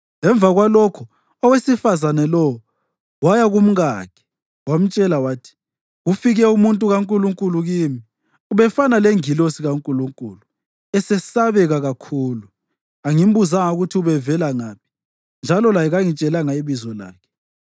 Emva kwalokho owesifazane lowo waya kumkakhe wamtshela wathi, “Kufike umuntu kaNkulunkulu kimi. Ubefana lengilosi kaNkulunkulu, esesabeka kakhulu. Angimbuzanga ukuthi ubevela ngaphi, njalo laye kangitshelanga ibizo lakhe.